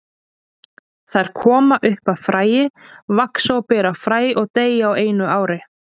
Þær koma upp af fræi, vaxa og bera fræ og deyja á einu ári.